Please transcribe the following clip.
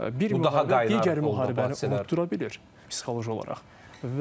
Bu daha digər müharibəni unuda bilir psixoloji olaraq.